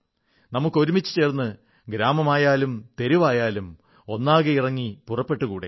നമുക്കൊരുമിച്ചു ചേർന്ന് ഗ്രാമമോ തെരുവോ ഒന്നാകെ ഇറങ്ങി പുറപ്പെട്ടുകൂടേ